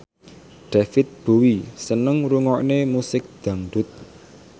David Bowie seneng ngrungokne musik dangdut